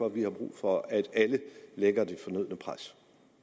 vi brug for at alle lægger det fornødne pres